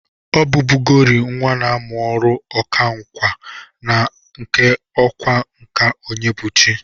Ọ bụbụgori nwa na amụ ọrụ ọkwa nka na nke ọkwa nka Onyebụchi.